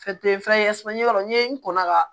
fɛn ɲɛ dɔn n ye n kɔnna ka